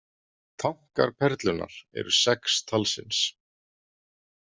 Tankar Perlunnar eru sex talsins.